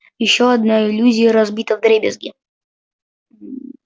ещё одна иллюзия разбита вдребезги